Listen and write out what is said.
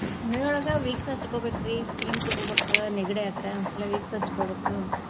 ಮನಿಯೊಳಗ Vicks ಹಚ್ಚಕೊಬೇಕ್ರಿ steam ತಗೋಬೇಕ್ ನೆಗಡಿ ಆದ್ರ ಇಲ್ಲಾ Vicks ಹಚ್ಕೊಬೇಕು.